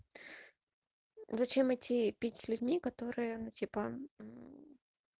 зачем идти пить с людьми которые она типа